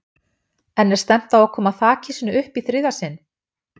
En er stefnt á að koma þakhýsinu upp í þriðja sinn?